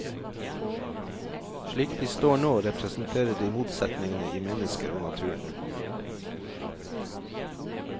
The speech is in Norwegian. Slik de står nå, representerer de motsetningene i mennesker og naturen.